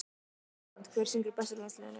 ÍSLAND Hver syngur best í landsliðinu?